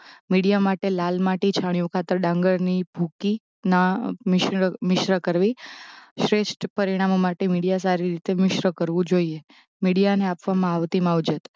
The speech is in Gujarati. મીડીયા માટે લાલ માટી છાણિયું ખાતર ડાંગરની ભૂકી ના મિશ્ર મિશ્ર કરવી શ્રેષ્ઠ પરિણામો માટે મીડીયા સારી રીતે મિશ્ર કરવું જોઇએ. મીડીયા ને આપવામાં આવતી માવજત